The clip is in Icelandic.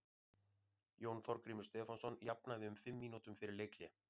Jón Þorgrímur Stefánsson jafnaði um fimm mínútum fyrir leikhlé.